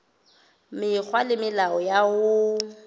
mekgwa le melao ya ho